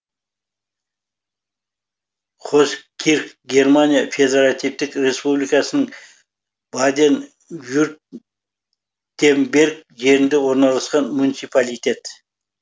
хоскирх германия федеративтік республикасының баден вюртемберг жерінде орналасқан муниципалитет